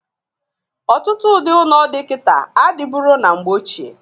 Ọtụtụ ụdị ụnọ dị kịta adịburo na mgbe ochie.